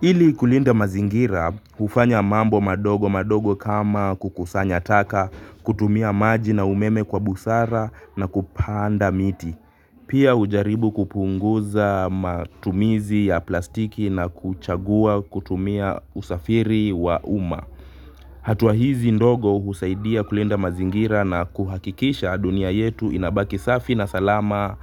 Ili kulinda mazingira, hufanya mambo madogo madogo kama kukusanya taka, kutumia maji na umeme kwa busara na kupanda miti. Pia hujaribu kupunguza matumizi ya plastiki na kuchagua kutumia usafiri wa umma. Hatua hizi ndogo husaidia kulinda mazingira na kuhakikisha dunia yetu inabaki safi na salama